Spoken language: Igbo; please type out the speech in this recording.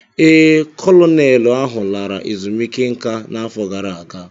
Ee, Kolonelụ ahụ lara ezumike nka n'afọ gara aga